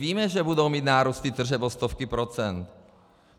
Víme, že budou mít nárůsty tržeb o stovky procent.